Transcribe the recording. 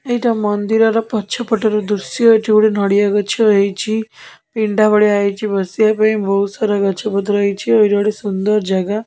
ଏଇଟା ମନ୍ଦିର ର ପଛପଟ ର ଦୃଶ୍ୟ ଏଠି ଗୋଟେ ନଡ଼ିଆ ଗଛ ହେଇଛି ପିଣ୍ଡା ଭଳିଆ ହେଇଚି ବସିବା ପାଇଁ ବହୁତ ସାରା ଗଛ ପତ୍ର ହେଇଚି ଆଉ ଏଇଟା ଗୋଟେ ସୁନ୍ଦର ଜାଗା।